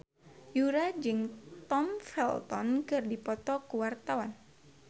Yura jeung Tom Felton keur dipoto ku wartawan